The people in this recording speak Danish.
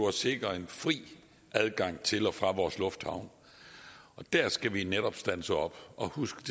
at sikre en fri adgang til og fra vores lufthavne der skal vi netop standse op og huske